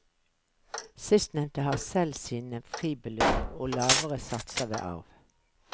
Sistnevnte har selv sine fribeløp og lavere satser ved arv.